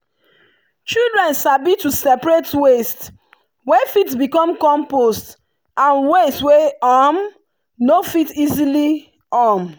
children sabi to separate waste wey fit become compost and waste wey um no fit easily. um